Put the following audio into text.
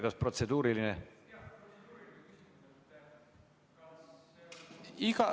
Jah, protseduuriline.